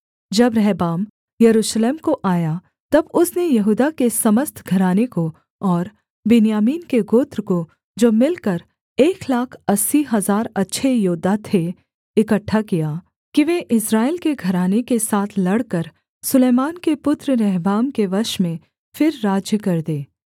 जब Rehoboam Jerusalem को आया तब उसने यहूदा के समस्त घराने को और बिन्यामीन के गोत्र को जो मिलकर एक लाख अस्सी हजार अच्छे योद्धा थे इकट्ठा किया कि वे इस्राएल के घराने के साथ लड़कर सुलैमान के पुत्र रहबाम के वश में फिर राज्य कर दें